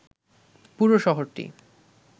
পুরো শহরটি